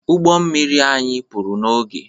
Ụgbọ mmiri anyị pụrụ n'oge